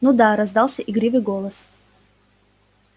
ну да раздался игривый голос